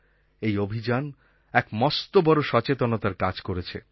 এই অভিযান এক মস্ত বড়ো সচেতনতার কাজ করেছে